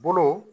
Bolo